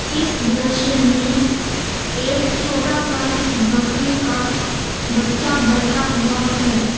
इस दृश्य में एक छोटा सा बकरी का बच्चा बैठा हुआ है।